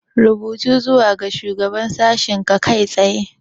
Rubuta zuwa ga Shugaban Sashen kai tsaye!